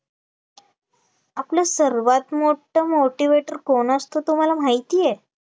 आपले सर्वात मोठं motivator कोण असतो तुम्हाला माहितीये